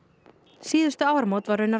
síðustu áramót var raunar